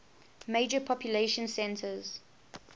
major population centers